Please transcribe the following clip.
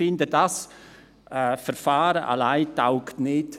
Ich finde das Verfahren alleine taugt nicht.